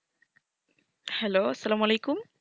hello আসসালামু আলাইকুম